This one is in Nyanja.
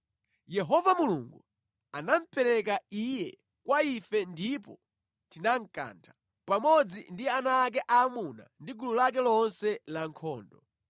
Yehova Mulungu anamupereka iye kwa ife ndipo tinankantha, pamodzi ndi ana ake aamuna ndi gulu lake lonse lankhondo.